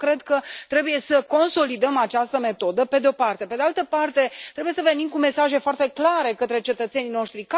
Eu cred că trebuie să consolidăm această metodă, pe de o parte, iar, pe de altă parte, trebuie să venim cu mesaje foarte clare către cetățenii noștri.